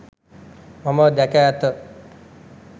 මම දැක ඇත